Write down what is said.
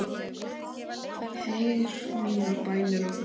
Heyr mínar bænir og þrá.